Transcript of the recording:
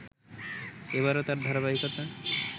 এবারো তার ধারাবাহিকতা